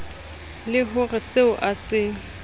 le ho reseo a se